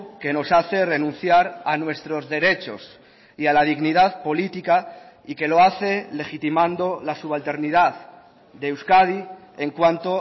que nos hace renunciar a nuestros derechos y a la dignidad política y que lo hace legitimando la subalternidad de euskadi en cuanto